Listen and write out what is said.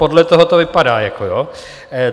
Podle toho to vypadá, jako jo.